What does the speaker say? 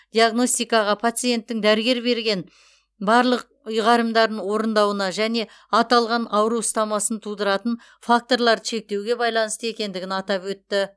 диагностикаға пациенттің дәрігер берген барлық ұйғарымдарын орындауына және аталған ауру ұстамасын тудыратын факторларды шектеуге байланысты екендігін атап өтті